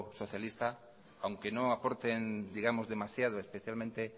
socialista aunque no aporten digamos demasiado especialmente